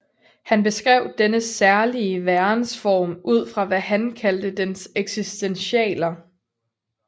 Han beskrev denne særlige værensform ud fra hvad han kaldte dens eksistentialer